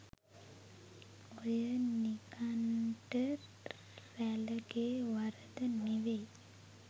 ඔය නිගන්ට රැලගෙ වරද නෙවෙයි.